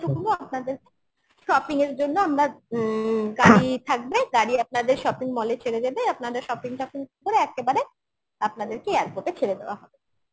shopping এর জন্য আমরা উম গাড়ি থাকবে গাড়ি আপনাদের shopping mall এ ছেড়ে দেবে আপনারা shopping টা করে একেবারে আপনাদেরকে airport এ ছেড়ে দেওয়া হবে